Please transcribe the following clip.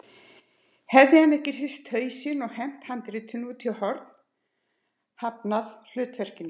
Hefði hann ekki hrist hausinn og hent handritinu út í horn, hafnað hlutverkinu?